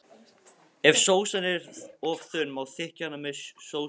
Ef sósan er of þunn má þykkja hana með sósujafnara.